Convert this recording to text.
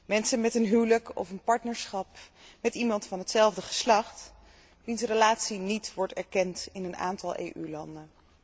Mensen met een huwelijk of een partnerschap met iemand van hetzelfde geslacht, wier relatie niet wordt erkend in een aantal EU landen.